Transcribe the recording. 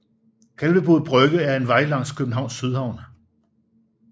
Kalvebod Brygge er en vej langs Københavns Sydhavn